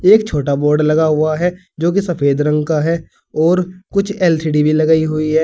एक छोटा बोर्ड लगा हुआ है जो की सफेद रंग कहां है और कुछ एल_सी_डी भी लगाई हुई है।